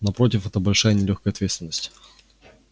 напротив это большая и нелёгкая ответственность